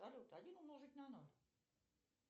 салют один умножить на ноль